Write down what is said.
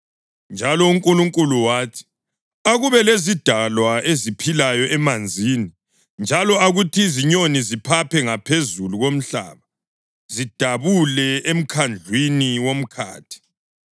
Njalo uNkulunkulu wathi, “Akube lezidalwa eziphilayo emanzini, njalo akuthi izinyoni ziphaphe ngaphezulu komhlaba zidabule emkhandlwini womkhathi.”